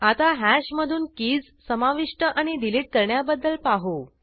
आता हॅश मधून कीज समाविष्ट आणि डिलिट करण्याबद्दल पाहू